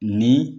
Ni